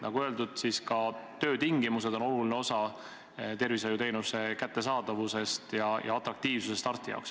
Nagu öeldud, ka töötingimused on oluline osa tervishoiuteenuse kättesaadavuse saavutamisest ja töö atraktiivsusest arsti jaoks.